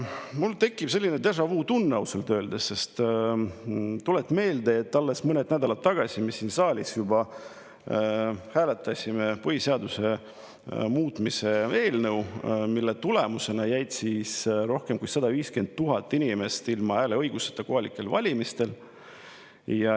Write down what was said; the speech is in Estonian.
Mul tekib selline déjà-vu-tunne, ausalt öeldes, sest tuleb meelde, et alles mõni nädal tagasi me siin saalis juba hääletasime põhiseaduse muutmise eelnõu üle, mille tulemusena jäi rohkem kui 150 000 inimest kohalikel valimistel ilma hääleõiguseta.